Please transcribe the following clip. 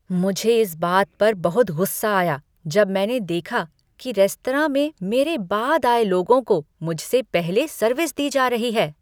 मुझे इस बात पर बहुत गुस्सा आया जब मैंने देखा कि रेस्तरां में मेरे बाद आए लोगों को मुझसे पहले सर्विस दी जा रही है।